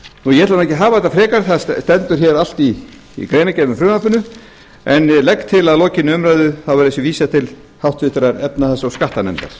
ég ætla nú ekki að hafa þetta frekar þetta stendur hér allt í greinargerð með frumvarpinu en legg til að lokinni umræðu þá verði þessu vísað til háttvirtrar efnahags og skattanefndar